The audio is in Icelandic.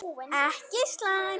Ekki slæmt.